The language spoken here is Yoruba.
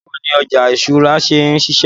Báwo ni ọjà ìṣúra ṣe ń ṣiṣẹ́?